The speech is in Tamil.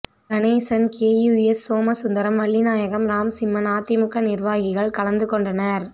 கணேசன் கே யூஎஸ் சோமசுந்தரம் வள்ளிநாயகம் ராம்சிம்மன் அதிமுக நிர்வாகிகள் கலந்து கொண்டனர்